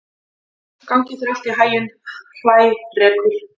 Gangi þér allt í haginn, Hrærekur.